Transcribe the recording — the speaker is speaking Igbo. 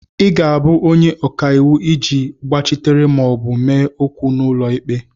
ị ga-abụ onye ọka iwu ị ji gbachitere ma ọ bụ mee okwu n'ụlọ ikpe